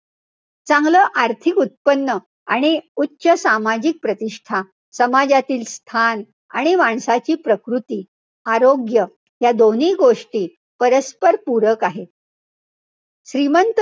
चांगलं आर्थिक उत्पन्न आणि उच्च सामाजिक प्रतिष्ठा, समाजातील स्थान आणि माणसाची प्रकृती, आरोग्य ह्या दोन्ही गोष्टी परस्पर पूरक आहेत. श्रीमंत,